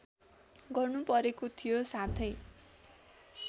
गर्नुपरेको थियो साथै